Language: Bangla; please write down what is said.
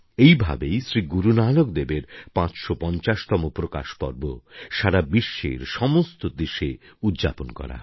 এই ভাবেই শ্রী গুরুনানক দেবের ৫৫০তম প্রকাশ পর্ব সারা বিশ্বের সমস্ত দেশে উদ্যাপন করা হবে